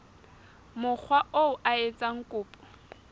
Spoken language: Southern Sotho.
mokga oo a etsang kopo